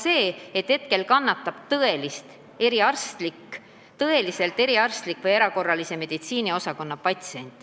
Selle tagajärjel kannatavad ka patsiendid, kes tõesti vajavad eriarsti või erakorralise meditsiini osakonna abi.